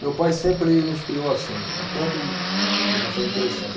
Meu pai sempre nos criou assim, a ponto de uma passagem interessante.